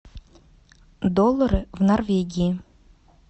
доллары в норвегии